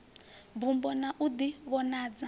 mbumbo na u di vhonadza